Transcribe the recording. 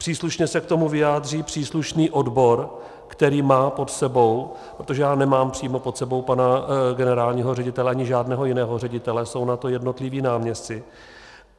Příslušně se k tomu vyjádří příslušný odbor, který má pod sebou, protože já nemám přímo pod sebou pana generálního ředitele ani žádného jiného ředitele, jsou na to jednotliví náměstci.